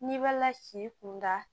N'i b'a la si kunda